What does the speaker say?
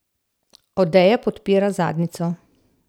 Odeja podpira zadnjico.